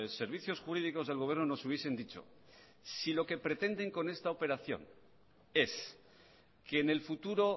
servicios jurídicos del gobierno nos hubiesen dicho si lo que pretenden con esta operación es que en el futuro